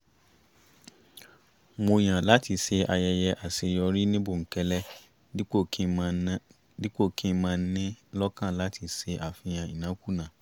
mo yàn láti ṣe ayẹyẹ àṣeyọrí ní bòńkẹ́lẹ́ dípò kì ń máa nii lọ́kàn láti ṣe àfihàn ìnákúnàá